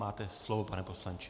Máte slovo, pane poslanče.